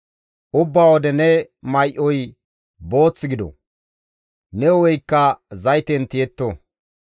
Ubbaa wode ne may7oy booth gido; ne hu7eykka zayten tiyetto.